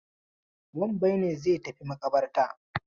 Wambai ne zai tafi maƙabartar.